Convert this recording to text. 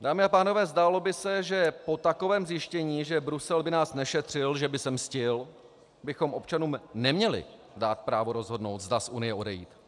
Dámy a pánové, zdálo by se, že po takovém zjištění, že Brusel by nás nešetřil, že by se mstil, bychom občanům neměli dát právo rozhodnout, zda z Unie odejít.